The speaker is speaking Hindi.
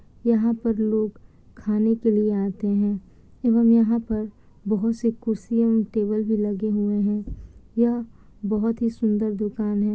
यहाँ पर लोग खाने के लिए आते हैं एवं यहाँ पर बहुत-सी कुर्सियां ओर टेबल भी लगे हुए हैं । यह बहुत ही सुंदर दुकान है।